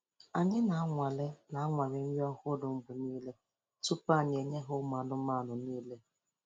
Anyi na-anwale na-anwale nri ohụrụ mgbe nile tupu anyi enye ya umụanụmanụ nile